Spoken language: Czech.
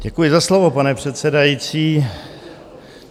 Děkuji za slovo, pane předsedající.